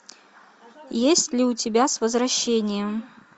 есть ли у тебя с возвращением